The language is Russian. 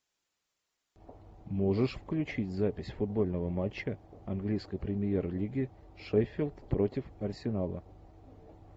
можешь включить запись футбольного матча английской премьер лиги шеффилд против арсенала